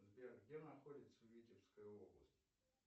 сбер где находится витебская область